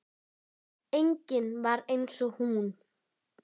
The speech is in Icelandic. Engin var eins og hún.